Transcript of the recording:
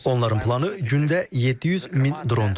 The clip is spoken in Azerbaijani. Onların planı gündə 700 min drondur.